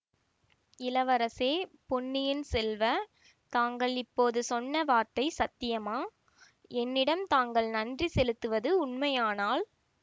இளவரசே பொன்னியின் செல்வ தாங்கள் இப்போது சொன்ன வார்த்தை சத்தியமா என்னிடம் தாங்கள் நன்றி செலுத்துவது உண்மையானால்